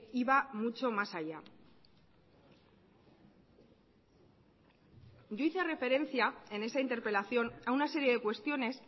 iba mucho más allá yo hice referencia en esa interpelación a una serie de cuestiones